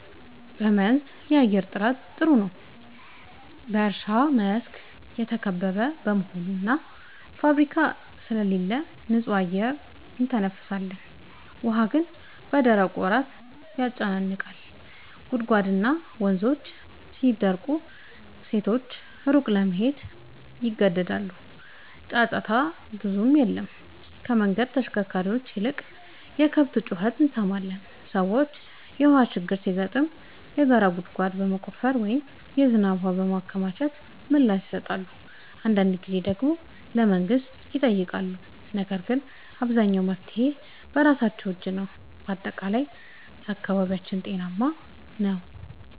በመንዝ የአየር ጥራት ጥሩ ነው፤ በእርሻ መስክ የተከበበ በመሆኑ እና ፋብሪካ ስለሌለ ንጹህ አየር እንተነፍሳለን። ውሃ ግን በደረቁ ወራት ያጨናንቃል፤ ጉድጓድና ወንዞች ሲደርቁ ሴቶች ሩቅ ለመሄድ ይገደዳሉ። ጫጫታ ብዙም የለም፤ ከመንገድ ተሽከርካሪዎች ይልቅ የከብት ጩኸት እንሰማለን። ሰዎች የውሃ ችግር ሲገጥም የጋራ ጉድጓድ በመቆፈር ወይም የዝናብ ውሃ በማከማቸት ምላሽ ይሰጣሉ። አንዳንድ ጊዜ ደግሞ ለመንግሥት ይጠይቃሉ፤ ነገር ግን አብዛኛው መፍትሔ በራሳቸው እጅ ነው። በጠቅላላው አካባቢያችን ጤናማ ነው።